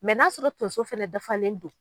Mɛ n'a sɔrɔ tonso fana dafalen don